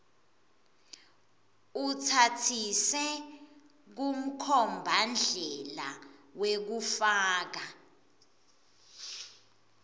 utsatsise kumkhombandlela wekufaka